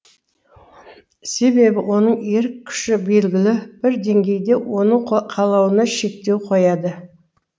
себебі оның ерік күші белгілі бір деңгейде оның қалауына шектеу қояды